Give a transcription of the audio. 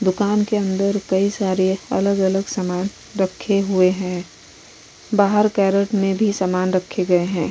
दूकान के अन्दर कई सारे अलग-अलग सामान रखे हुए है। बाहर कैरोट में भी सामान रखे गए है।